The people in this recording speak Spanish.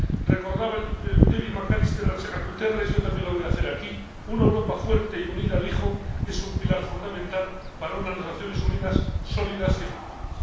Recordaba David McAllister a Guterres yo también lo voy a hacer aquí una Europa fuerte y unida —dijo— es un pilar fundamental para unas Naciones Unidas sólidas y efectivas.